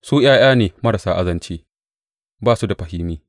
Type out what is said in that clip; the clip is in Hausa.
Su ’ya’ya ne marasa azanci; ba su da fahimi.